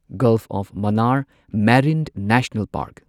golf of Mannar Marine National park